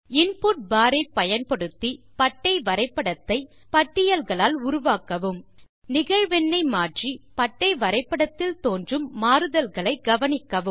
input bar ஐ பயன்படுத்தி பட்டை வரைபடத்தை பட்டியல்களால் உருவாக்கவும் நிகழ்வெண் ஐ மாற்றி பட்டை வரைபடத்தில் தோன்றும் மாறுதல்களை கவனிக்கவும்